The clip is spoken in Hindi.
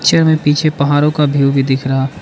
में पीछे पहाड़ों का व्यू भी दिख रहा है।